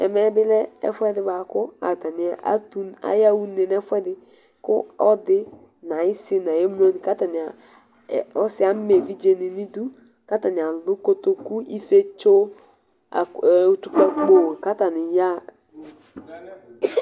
Ɛmɛ bilɛ ɛfʋɛdi bʋakʋ ayaxa une nʋ ɛfʋɛdi ɛfʋɛdi kʋ ɔlɔdi ni ayisi nʋ ayʋ emlo ni kʋ atani ɔsi ama evidze ni nʋ idʋ kʋ atani alʋ kotoku ifietso utupkakpo kʋ atani yaxa